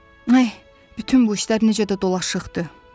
Ay, bütün bu işlər necə də dolaşıqdır!